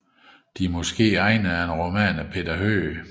De måske egnede er en roman af Peter Høeg